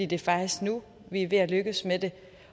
det er faktisk nu vi er ved at lykkes med det